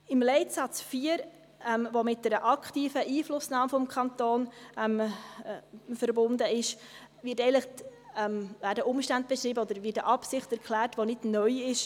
Im Leitsatz 4, der mit einer aktiven Einflussnahme des Kantons verbunden ist, werden Umstände beschrieben oder Absichten erklärt, die nicht neu sind.